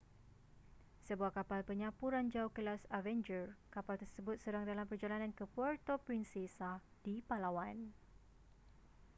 sebuah kapal penyapu ranjau kelas avenger kapal tersebut sedang dalam perjalanan ke puerto princesa di palawan